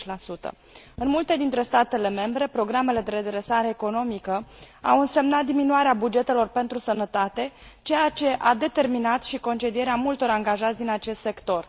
20. În multe dintre statele membre, programele de redresare economică au însemnat diminuarea bugetelor pentru sănătate, ceea ce a determinat și concedierea multor angajați din acest sector.